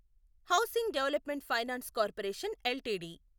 housing development finance corporation LTD